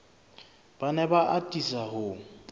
ba ne ba atisa ho